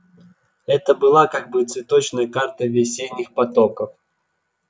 это была как бы цветочная карта весенних потоков